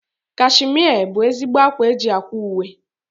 Kashmia bụ ezigbo ákwá eji ákwà uwe.